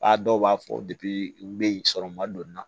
A dɔw b'a fɔ u bɛ yen sɔrɔ ma don n na